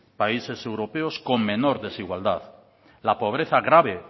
países europeos con menor desigualdad la pobreza grave